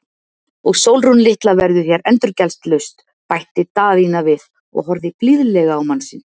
Og Sólrún litla verður hér endurgjaldslaust, bætti Daðína við og horfði blíðlega á mann sinn.